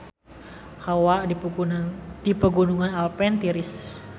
Hawa di Pegunungan Alpen tiris